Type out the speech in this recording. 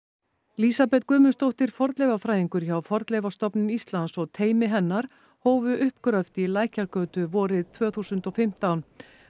lísabet Guðmundsdóttir fornleifafræðingur hjá Fornleifastofnun Íslands og teymi hennar hófu uppgröft í Lækjargötu vorið tvö þúsund og fimmtán